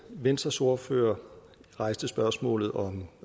venstres ordfører rejste spørgsmålet